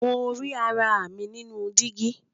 Mo ri ara mi ninu digi.